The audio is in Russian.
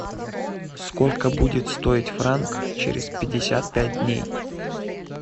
сколько будет стоить франк через пятьдесят пять дней